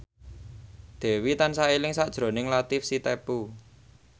Dewi tansah eling sakjroning Latief Sitepu